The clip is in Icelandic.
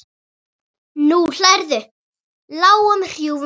Nú hlærðu, lágum hrjúfum hlátri.